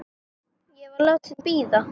Ég var látin bíða.